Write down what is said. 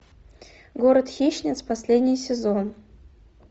город хищниц последний сезон